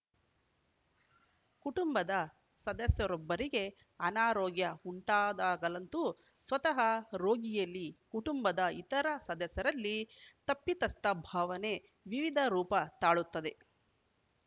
ಕುಟುಂಬದ ಸದಸ್ಯರೊಬ್ಬರಿಗೆ ಅನಾರೋಗ್ಯವುಂಟಾದಾಗಲಂತೂ ಸ್ವತಃ ರೋಗಿಯಲ್ಲಿ ಕುಟುಂಬದ ಇತರ ಸದಸ್ಯರಲ್ಲಿ ತಪ್ಪಿತಸ್ಥ ಭಾವನೆ ವಿವಿಧ ರೂಪ ತಾಳುತ್ತದೆ